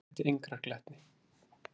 Þó gætti engrar glettni.